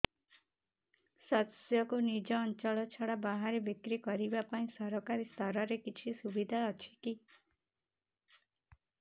ଶସ୍ୟକୁ ନିଜ ଅଞ୍ଚଳ ଛଡା ବାହାରେ ବିକ୍ରି କରିବା ପାଇଁ ସରକାରୀ ସ୍ତରରେ କିଛି ସୁବିଧା ଅଛି କି